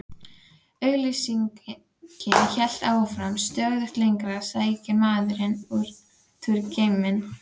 Auglýsingin hélt áfram: Stöðugt lengra sækir maðurinn út í geiminn.